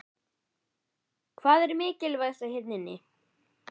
Hvað er mikilvægast hérna inni?